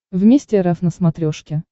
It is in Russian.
вместе рф на смотрешке